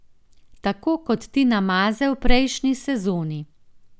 Tako kot Tina Maze v prejšnji sezoni.